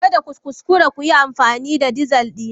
Kada ku kuskura ku yi amfani da dizal dina!